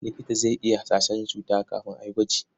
Likita zai iya hasashen cuta kafin a yi gwaji.